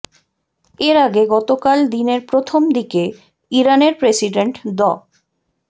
এর আগে গতকাল দিনের প্রথম দিকে ইরানের প্রেসিডেন্ট ড